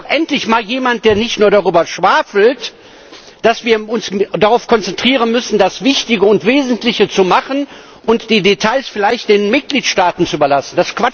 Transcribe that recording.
Da ist doch endlich mal jemand, der nicht nur darüber schwafelt, dass wir uns darauf konzentrieren müssen, das Wichtige und Wesentliche zu machen und die Details vielleicht den Mitgliedstaaten zu überlassen.